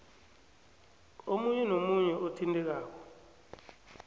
omunye nomunye othintekako